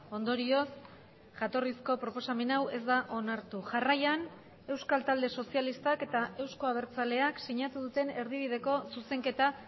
ondorioz jatorrizko proposamen hau ez da onartu jarraian euskal talde sozialistak eta euzko abertzaleak sinatu duten erdibideko zuzenketa